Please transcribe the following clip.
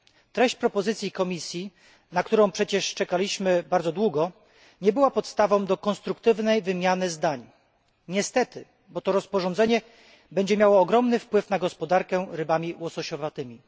Treść propozycji Komisji, na którą przecież czekaliśmy bardzo długo, nie była podstawą do konstruktywnej wymiany zdań niestety, rozporządzenie to bowiem będzie miało ogromny wpływ na gospodarkę rybami łososiowatymi.